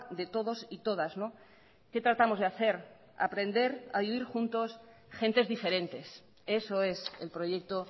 de todos y todas qué tratamos de hacer aprender a vivir juntos gentes diferentes eso es el proyecto